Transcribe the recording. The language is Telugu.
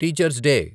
teacher's day